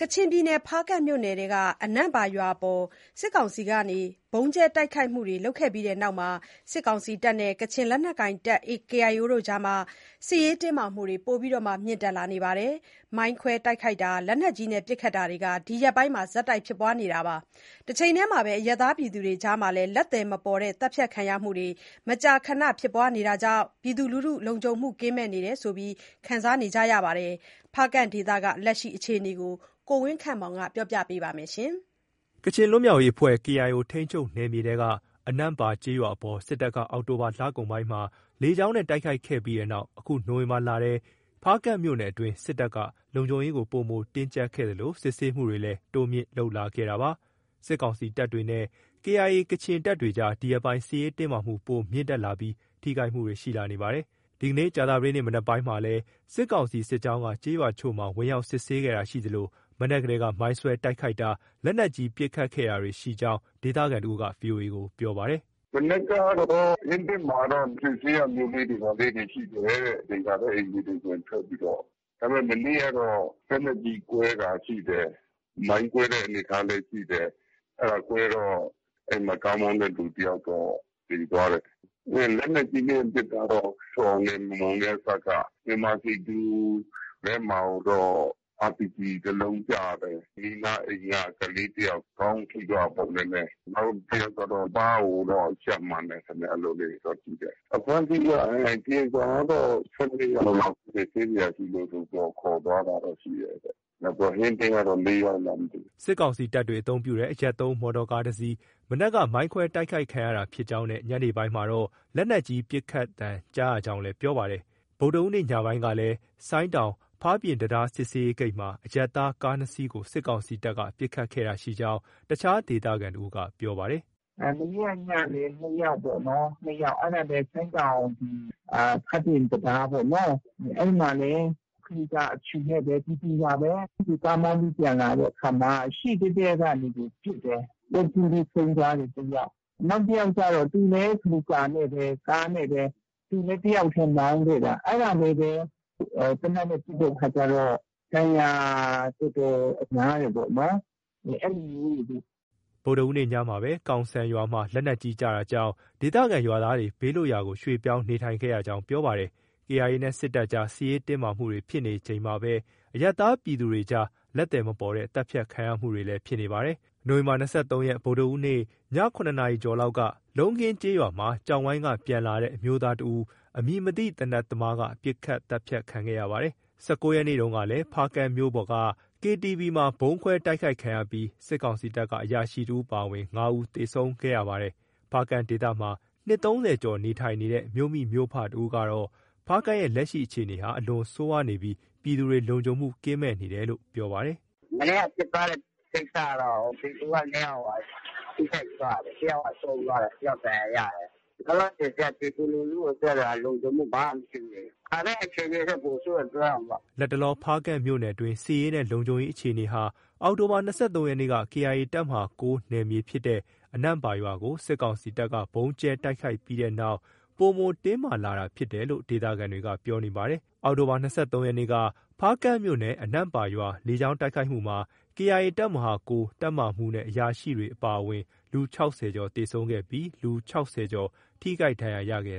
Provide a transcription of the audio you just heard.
ကချင်ပြည်နယ် ဖားကန့်မြို့နယ်အတွင်း အနန့်ပါရွာအပေါ် ဗုံးကြဲတိုက်ခိုက်ခံရပြီးတဲ့နောက် စစ်ကောင်စီတပ်နဲ့ ကချင်လက်နက်ကိုင် KIA ကြား စစ်ရေးတင်းမာမှုတွေ ပိုပြီးမြင့်တက်နေပါတယ်။ မိုင်းခွဲတိုက်ခိုက်တာ၊ လက်နက်ကြီးပစ်ခတ်တာတွေ ဒီရက်ပိုင်း ဆက်တိုက် ဖြစ်နေပါတယ်။ တချိန်တည်းမှာပဲ အရပ်သားပြည်သူတွေကြား လက်သည်မပေါ်ဘဲ မကြာခဏ သတ်ဖြတ်ခံနေရတာတွေကြောင့် လုံခြုံမှုကင်းမဲ့တယ်လို့ ခံစားနေကြရပါတယ်။ ဖားကန့်ဒေသက လက်ရှိ အခြေအနေကို ကိုဝင်းခန့်မောင်က တင်ပြပေးထားပါတယ်။ ကချင်ပြည်လွတ်မြောက်ရေး KIO ထိန်းချုပ်နယ်မြေထဲက အနန့်ပါကျေးရွာအပေါ် စစ်တပ်က အောက်တိုဘာလကုန်ပိုင်းမှာ လေကြောင်းနဲ့ တိုက်ခိုက်ခဲ့ပြီးနောက် အခုနိုဝင်ဘာလထဲမှာ ဖားကန့်မြို့နယ်အတွင်း စစ်တပ်က လုံခြုံရေးကို ပိုမို တင်းကျပ်ခဲ့သလို စစ်ဆေးမှုတွေလည်း တိုးမြှင့်လုပ်လာခဲ့တာပါ။ စစ်ကောင်စီတပ်တွေနဲ့ KIA ကချင်တပ်တွေကြား ဒီရက်ပိုင်း စစ်ရေးတင်းမာမှုတွေ ပိုမိုမြင့်တက်လာပြီး ထိခိုက်မှုရှိလာနေပါတယ်။ ဒီကနေ့ ကြာသပတေးနေ့ မနက်ပိုင်းကလည်း စစ်ကောင်စီစစ်ကြောင်းက ကျေးရွာတချို့ ဝင်ရောက်စစ်ဆေးတာရှိခဲ့သလို မနေ့ကတည်းက မိုင်းခွဲတိုက်ခိုက်တာ၊ လက်နက်ကြီးပစ်ခတ်တာတွေ ရှိခဲ့ကြောင်း ဒေသခံတစ်ဦးက VOA ကို ပြောပါတယ်။ “မနက်ကတော့ ဟင်းတင့်မှာတော့ စစ်ဆေးတာတွေ ဘာတွေ ရှိတယ်တဲ့။ မသင်္ကာတဲ့အိမ်တွေကို ဝင်ထွက်ပြီးတော့။ ဒါပေမဲ့ မနေ့ကတော့ လက်နက်ကြီးကွဲတာ ရှိတယ်။ မိုင်းကွဲတဲ့အနေအထားလည်း ရှိတယ်။ အဲဒါ ကွဲတော့ ကားမောင်းတဲ့လူတယောက်တော့ သေသွားတယ်။ လက်နက်ကြီးနဲ့ပစ်တာတော့ ဆွတ်အောင်နဲ့ မမုံနဲ့အစပ်က မြန်မာစည်သူထဲမှာကိုတော့ အာပီဂျီ တလုံးကျတယ်။ ဘေးနားကအိမ်က ကလေးတယောက် ခေါင်းထိသွားတာပေါ့။ နည်းနည်း။ နောက်တယောက်ကတော့ ပါးကိုတော့ ရှပ်မှန်တယ်ခင်ဗျ။ အဖမ်းအဆီးက ကရင်ချောင်ကတော့ ၁၂ ယောက်လား စစ်ဆေးစရာရှိလို့ ခေါ်သွားတာတော့ ရှိတယ်။ နောက် ဟင်းတင့်ကတော့ ၄ ယောက်လား မသိဘူး။” စစ်ကောင်စီတပ်တွေ အသုံးပြုတဲ့ အရပ်သုံးမော်တော်ကား မနက်က မိုင်းခွဲတိုက်ခိုက်ခံရတာဖြစ်ကြောင်းနဲ့ ညနေပိုင်းမှာတော့ လက်နက်ကြီး ပစ်ခတ်သံကြားရကြောင်းလည်း ပြောပါတယ်။ ဗုဒ္ဓဟူးနေ့ညပိုင်းကလည်း ဆိုင်းတောင် ဖားပြင်တံတားစစ်ဆေးရေးဂိတ်မှာ အရပ်သား ကား ၂ စီးကို စစ်ကောင်စီတပ်က ပစ်ခတ်တာရှိခဲ့ကြောင်း အခြား ဒေသခံတဦးက ပြောပါတယ်။ “မနေ့က ညဆို ၂ ယောက်ပေါ့နော်။ ၂ ယောက် အဲဒါလည်း ဆိုင်းတောင် ဖားပြင် တံတားပေါ့နော။ အဲဒီမှာလည်း Kluga အဖြူနဲ့ပေါ့၊ ပြည်သူပါပဲ။ ကားမောင်းပြီးပြန်လာတဲ့အခါမှာ ရှေ့တည့်တည့်ကနေပြီး ပစ်တယ်။ ပွဲချင်းပြီး ဆုံးသွားတယ် တယောက်။ နောက်တယောက်ကျတော့ သူလည်း Kluga နဲ့ပဲ။ ကားနဲ့ပဲ သူလည်းတယောက်တည်း မောင်းခဲ့တာ။ အဲဒါလည်းပဲ သေနတ်နဲ့ ပစ်တဲ့အခါကျတော့ ဒဏ်ရာတော်တော်များတယ်ပေါ့နော်။ အဲလိုမျိုးတွေလေ။” ဗုဒ္ဓဟူးနေ့ညမှာပဲ ကောင်ဆန်ရွာမှာ လက်နက်ကြီးကျတာကြောင့် ဒေသခံရွာသားတွေဟာ ဘေးလွတ်ရာကို ရွှေ့ပြောင်းနေခဲ့ကြရကြာင်း ပြောပါတယ်။ KIA နဲ့ စစ်တပ်ကြား စစ်ရေးတင်းမာမှုတွေဖြစ်နေချိန်မှာပဲ အရပ်သားပြည်သူတွေကြား လက်သည်မပေါ်တဲ့ သတ်ဖြတ်ခံရမှုတွေလည်းဖြစ်နေပါတယ်။ ဗုဒ္ဓဟူးနေ့ ၂၃ ရက်နေ့ ည ၇ နာရီကျော်လောက်က လုံးခင်းကျေးရွာမှာ ကျောက်ဝိုင်းကပြန်လာတဲ့ အမျိုးသားတဦးကို အမည်မသိ သေနတ်သမားက ပစ်ခတ်သတ်ဖြတ်ခံခဲ့ရပါတယ်။ ၁၉ ရက်နေ့တုန်းကလည်း့ဖားကန့်မြို့ပေါ်က KTV မှာ ဗုံးခွဲ တိုက်ခိုက်ခံရပြီး စစ်ကောင်စီတပ်က အရာရှိ တဦးအပါအဝင် ၅ ဦး သေဆုံးခဲ့ရပါတယ်။ ဖားကန့်ဒေသမှာ နှစ် ၃၀ကျော်နေထိုင်နေတဲ့ မြို့မိမြို့ဖတဦးကတော့ ဖားကန့်ရဲ့ လက်ရှိ အခြေအနေဟာ အလွန်ဆိုးဝါးနေပြီး ပြည်သူတွေဟာ လုံခြုံမှုကင်းမဲ့နေရတယ်လို့ ပြောပါတယ်။ “မနေ့က ဖြစ်သွားတဲ့ကိစ္စကတော့ ပြည်သူက နှစ်ယောက် ထိခိုက်သွားတာလေ။ တယောက်က ဆုံးသွားတယ်။ တယောက်ဒဏ်ရာရတယ်။ လောလောဆယ်က ပြည်သူလူထုအတွက် လုံခြုံမှုက ဘာမှ မရှိဘူးလေ။ ခါတိုင်းအခြေအနေထက် ပိုဆိုးတယ် ပြောရမှာပေ့ါ။” လတ်တလော ဖားကန့်မြို့နယ်အတွင်းက စစ်ရေးနဲ့ လုံခြုံရေးအခြေအနေဟာ အောက်တိုဘာလ ၂၃ ရက်နေ့က KIA တပ်မဟာ ၉ နယ်မြေဖြစ်တဲ့ အနန့်ပါရွာကို စစ်ကောင်စီက ဗုံးကြဲတိုက်ခိုက်ပြီးနောက် ပိုမို တင်းမာလာတာဖြစ်တယ်လို့ ဒေသခံတွေက ပြောနေပါတယ်။ အောက်တိုဘာလ ၂၃ ရက်နေ့က ဖားကန့်မြို့နယ် အနန့်ပါရွာ လေကြောင်းတိုက်ခိုက်မှုမှာ KIA တပ်မဟာ ၉ တပ်မဟာမှူးနဲ့ အရာရှိတွေ အပါအဝင် လူ ၆၀ ကျော်သေဆုံးခဲ့ပြီး လူ ၆၀ ကျော် ထိခိုက်ဒဏ်ရာရခဲ့